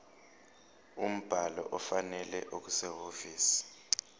umbhalo ofanele okusehhovisi